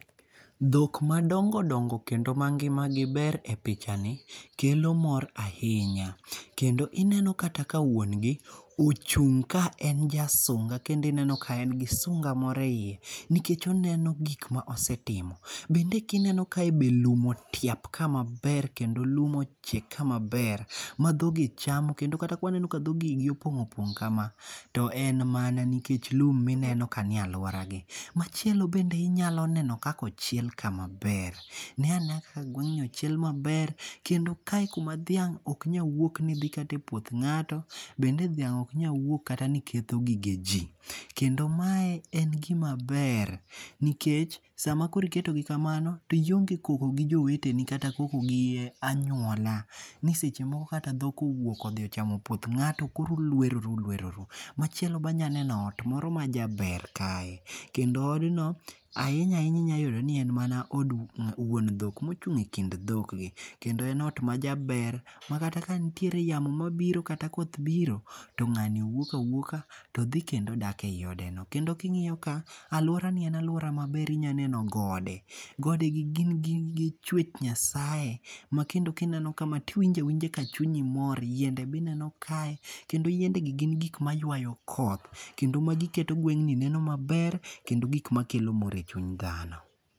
Dhok madongo dongo kendo ma ngima gi ber e picha ni kelo mor ahinya. Kendo ineno kata ka wuongi ochung' ka en ja sunga kendo ineno ka en gi sunga moro eyie nikech oneno gik ma osetimo. Bende kineni kae be lum otiap ka maber kendo lum ochiek ka maber ma dhogi chamo. Kendo kata ka waneno ka dhoki yi gi opong' opong' kama to en mana nikech lum nineno ka nie aluora gi. Machielo bende inyalo neno kaka ochiel kae maber. Ne anea kaka gweng' ni ochiel maber kendo kae kuma dhiang' ok nyal wuok kata ni dhi e puoth ng'ato. Bende dhiang' ok nyal wuok kata ni ketho gige ji. Kendo mae en gima ber. Nikech sama koro iketo gi kamano to ionge koko gi joweteni kata koko gi anyuola ni seche moko kata dhok owuok odhi ochamo puoth ng'ato koro ulweroru ulweroru. Machielo be anyaneno ot moro majaber kae. Kendo od no ahinya ahinya inyayudo ni en mana od wuon dhok mochung' e kind dhok gi. Kendo en ot majaber makata ka nitiere yamo mabiro kata koth biro to ng'ani wuok awuoka to dhi kendo dak e yi odeno. Kendo king'iyo ka aluora ni en aluora maber inyaneno gode. Gode gi gin chwech nyasaye makendo kneno kama tiwinjo awinja ka chunyi mor. Yiende be ineno kae kendo yiende gi gin gik maywayo koth kendo magi keto gweng' ni neno maber kendo gik makelo mor e chuny dhano.